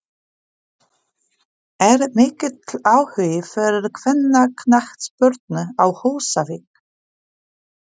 Er mikill áhugi fyrir kvennaknattspyrnu á Húsavík?